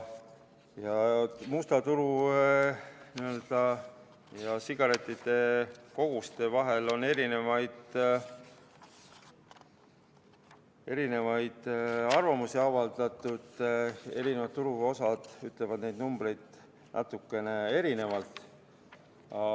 Musta turu sigarettide koguste kohta on eri arvamusi avaldatud, eri turuosalised pakuvad natukene erinevaid numbreid.